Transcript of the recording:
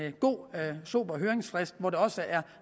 en god sober høringsfrist hvor der også er